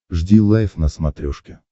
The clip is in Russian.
жди лайв на смотрешке